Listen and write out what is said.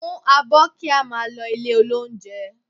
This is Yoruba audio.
Mú abọ́ kí a máa lọ ilé-olóunjẹ